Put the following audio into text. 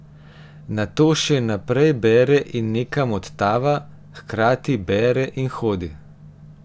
Nato še naprej bere in nekam odtava, hkrati bere in hodi.